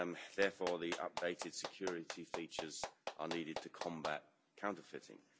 Therefore the updated security features are needed to combat counterfeiting.